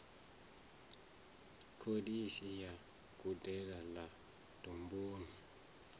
kholishi ya gudedzi ḽa domboni